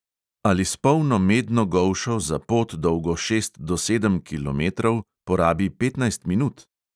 Ali s polno medno golšo za pot, dolgo šest do sedem kilometrov, porabi petnajst minut?